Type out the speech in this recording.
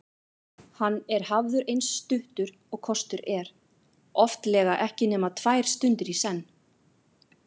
Hann er hafður eins stuttur og kostur er, oftlega ekki nema tvær stundir í senn.